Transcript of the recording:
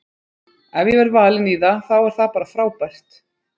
Ef ég verð valinn í það þá er það bara frábært.